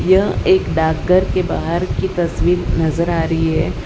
यह एक डाकघर के बाहर की तस्वीर नजर आ रही है।